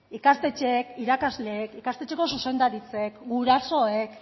ikastetxeek irakasleek ikastetxeko zuzendaritzek gurasoek